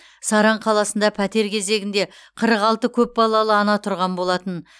саран қаласында пәтер кезегінде қырық алты көпбалалы ана тұрған болатын